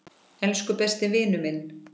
Elsku besti vinur minn.